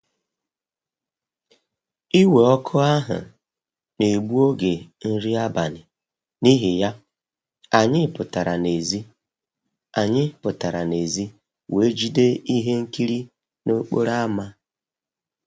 Iwe ọkụ ahụ na-egbu oge nri abalị, n'ihi ya, anyị pụtara n'èzí anyị pụtara n'èzí wee jide ihe nkiri n'okporo ámá